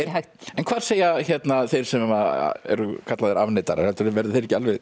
en hvað segja þeir sem eru kallaðir afneitarar verða þeir ekki alveg